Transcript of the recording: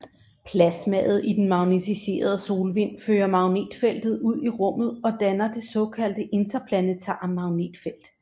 Plasmaet i den magnetiserede solvind fører magnetfeltet ud i rummet og danner det såkaldte interplanetare magnetfelt